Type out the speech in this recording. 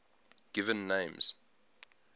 given names